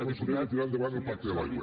conseller de tirar endavant el pacte de l’aigua